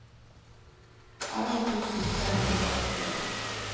elleve tusen tre hundre og åtti